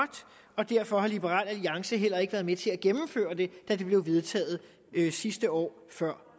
og derfor har liberal alliance heller ikke været med til at gennemføre den da den blev vedtaget sidste år før